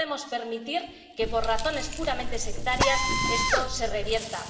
No podemos permitir que, por razones puramente sectarias, esto se revierta.